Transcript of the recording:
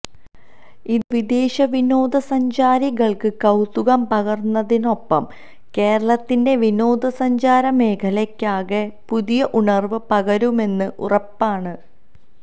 ഇത് വിദേശ വിനോദ സഞ്ചാരികള്ക്ക് കൌതുകം പകരുന്നതിനൊപ്പം കേരളത്തിന്റെ വിനോദസഞ്ചാര മേഖലയ്ക്കാകെ പുതിയ ഉണര്വ് പകരുമെന്നും ഉറപ്പാണ്